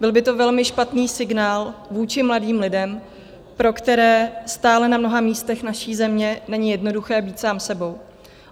Byl by to velmi špatný signál vůči mladým lidem, pro které stále na mnoha místech naší země není jednoduché být sám sebou.